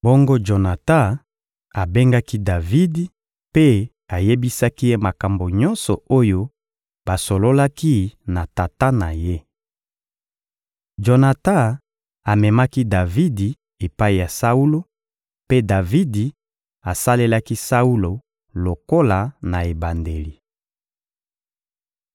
Bongo Jonatan abengaki Davidi mpe ayebisaki ye makambo nyonso oyo basololaki na tata na ye. Jonatan amemaki Davidi epai ya Saulo, mpe Davidi asalelaki Saulo lokola na ebandeli.